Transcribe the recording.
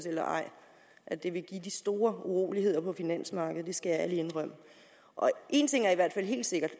eller ej at det vil give de store uroligheder på finansmarkedet det skal jeg ærligt indrømme en ting er i hvert fald helt sikkert